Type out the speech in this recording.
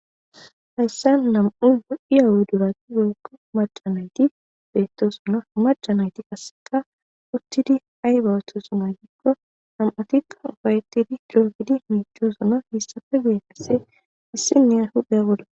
Hayssa nam7u wo7i aawu durati holkko macanayti beetto sono macanayti kaseka uttidi ay bawuthosunaytikko nam7atikka ufayettidi didrofidi miichoosona hissafe guye kasse issinne ay huday bolla.